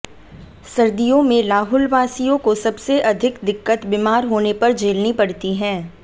सर्दियों में लाहुलवासियों को सबसे अधिक दिक्कत बीमार होने पर झेलनी पड़ती है